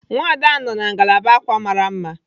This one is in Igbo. Nwada ahu nọ na ngalaba ákwà mara mma.